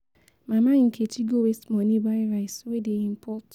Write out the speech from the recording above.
Mama Nkechi go waste money buy rice wey dey import.